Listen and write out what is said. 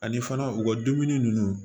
Ani fana u ka dumuni ninnu